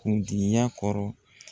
Kundigiya kɔrɔ